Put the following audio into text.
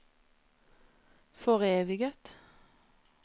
foreviget